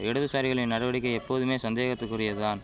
இடதுசாரிகளின் நடவடிக்கை எப்போதுமே சந்தேகத்துக்குரியது தான்